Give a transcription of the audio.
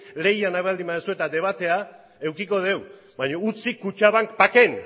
lehia nahi baldin baduzue eta debatea edukiko dugu baina utzi kutxabank pakean